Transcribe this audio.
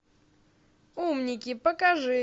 умники покажи